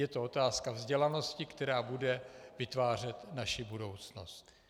Je to otázka vzdělanosti, která bude vytvářet naši budoucnost.